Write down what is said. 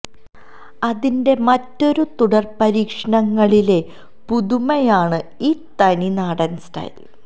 അതിന്റെ മറ്റൊരു തുടർ പരീക്ഷണങ്ങളിലെ പുതുമയാണ് ഈ തനി നാടൻ സ്റ്റൈൽ